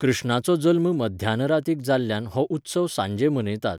कृष्णाचो जल्म मध्यानरातीक जाल्ल्यान हो उत्सव सांजे मनयतात.